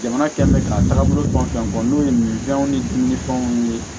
Jamana kɛlen bɛ k'a taagabolo dɔn fɛn fɛn fɔ n'o ye min fɛnw ni dumunifɛnw ye